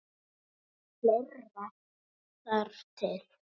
En fleira þarf til.